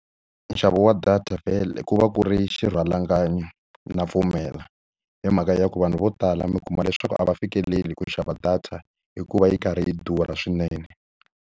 Nxavo wa data vhele ku va ku ri xirhalanganyi na pfumela, hi mhaka ya ku vanhu vo tala mi kuma leswaku a va fikeleli ku xava data hikuva yi karhi yi durha swinene.